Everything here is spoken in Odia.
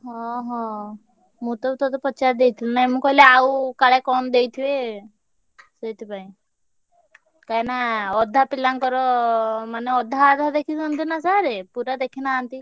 ହଁ ହଁ ମୁଁ ତ ତତେ ପଚାରିଦେଇଥିଲି ନାଇଁ ମୁଁ କହିଲି ଆଉ କାଳେ କଣ ଦେଇଥିବେ ସେଇଥିପାଇଁ। କାହିଁକିନା ଅଧା ପିଲାଙ୍କର ମାନେ ଅଧା ଅଧା ଦେଖିଛନ୍ତି ନା sir ପୁରା ଦେଖିନାହାନ୍ତି।